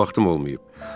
Heç vaxtım olmayıb.